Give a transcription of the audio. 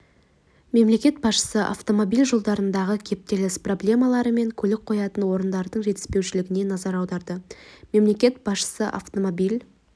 мемлекет басшысы автомобиль жолдарындағы кептеліс проблемалары мен көлік қоятын орындардың жетіспеушілігіне назар аударды мемлекет басшысы автомобиль